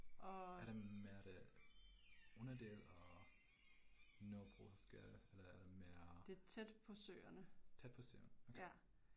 Er det mere det underdel af Nørrebrosgade eller er det mere? Tæt på Søerne okay